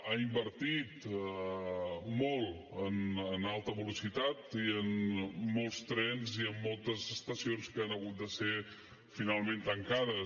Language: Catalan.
ha invertit molt en alta velocitat i en molts trens i en moltes estacions que han hagut de ser finalment tancades